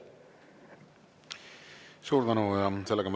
Suur tänu!